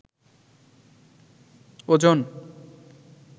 ওজন